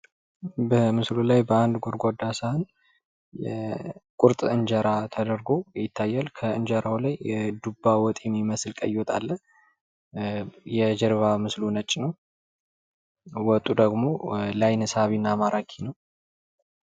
በምስሉ ላይ በአንድ ጎድጓዳ ሰሀን ቁርጥ እንጀራ ተደርጎ ይታያል ።እንጀራው ላይ የዱባ ወጥ የሚመስል ቀይ ወጥ አለ። የጀርባ ምስሉ ነጭ ነው። ወጡ ደግሞ ለአይን ሳቢና ማራኪ ነው።